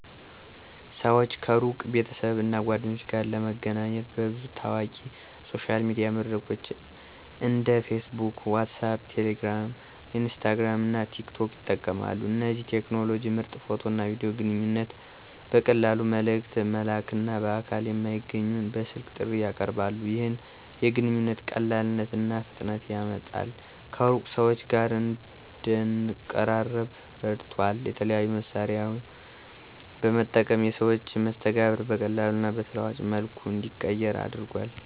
ሰዎች ከሩቅ ቤተሰብ እና ጓደኞች ጋር ለመገናኘት በብዙ ታዋቂ ሶሻል ሚዲያ መድረኮች እንደ Facebook WhatsApp Telegram, Instagram እና TikTok ይጠቀማሉ። እነዚህ ቴክኖሎጂዎች ምርጥ ፎቶ እና ቪዲዮ ግንኙነት ቨቀላሉ መልእክት መላክና በአካል የማይገኘውን በስልክ ጥሪ ያቀርባሉ። ይህ የግንኙነት ቀላልነት እና ፍጥነትን ያመጣል ከሩቅ ሰዎች ጋር እንደንቀራረበ ረድቷል። የተለያዩ መሳሪያዎን በመጠቀም የሰዎች መስተጋብር በቀላሉ እና በተለዋዋጭ መልኩ እንዲቀየር አድርጓል።